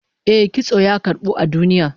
Eh, kitso ya karbu a duniya